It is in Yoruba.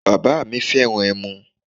Bàbá mi fẹ́ràn ẹmu.